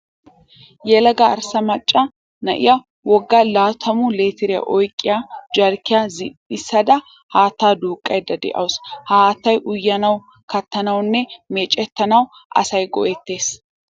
Yelaga arsa macca na''iyaa wogga laatamu litiriyaa oyiqqiya jarkkiya zin''ida haattaa duuqqayidda dawusu. Ha haatta uyanawu, kattanawunne meecettanawu asayi go''ettes.